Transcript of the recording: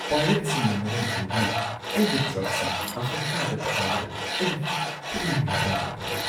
ꯄꯥꯏꯔꯦꯠꯁꯤꯡꯅ ꯃꯔꯝ ꯑꯣꯏꯗꯨꯅ ꯑꯩꯒꯤ ꯇ꯭ꯔꯛꯁꯤꯡ ꯑꯐ꯭ꯔꯤꯀꯥꯗ ꯊꯥꯕꯗ ꯑꯩ ꯄꯨꯛꯅꯤꯡ ꯂꯩꯇꯥꯗꯕ ꯐꯥꯎꯏ꯫